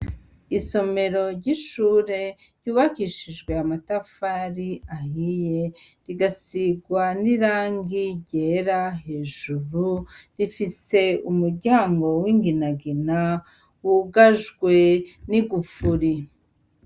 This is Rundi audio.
Isomero ryishure ryubakishijwe amatafari ahiye rigasirwa nirangi ryera hejuru rifise umuryango winginagina wugajwe nigufuri.